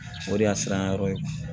O de y'a siran yɔrɔ ye